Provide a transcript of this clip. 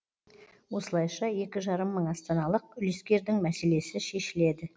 осылайша екі жарым мың астаналық үлескердің мәселесі шешіледі